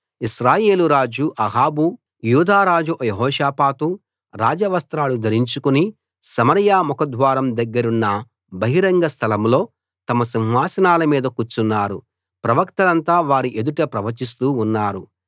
ఇశ్రాయేలు రాజు అహాబు యూదారాజు యెహోషాపాతు రాజవస్త్రాలు ధరించుకుని సమరయ ముఖద్వారం దగ్గరున్న బహిరంగ స్థలం లో తమ సింహాసనాల మీద కూర్చున్నారు ప్రవక్తలంతా వారి ఎదుట ప్రవచిస్తూ ఉన్నారు